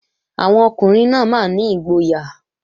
Àwọn ọkùnrin náà máa ní ìgboyà